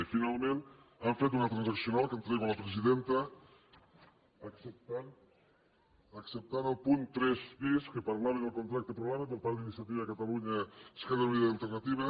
i finalment han fet una transaccional que entrego a la presidenta acceptant el punt tres bis que parlava del contracte programa per part d’iniciativa per catalunya verds esquerra unida i alternativa